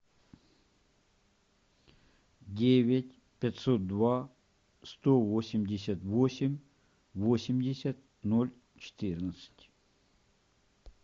девять пятьсот два сто восемьдесят восемь восемьдесят ноль четырнадцать